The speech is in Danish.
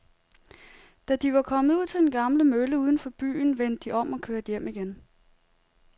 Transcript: Da de var kommet ud til den gamle mølle uden for byen, vendte de om og kørte hjem igen.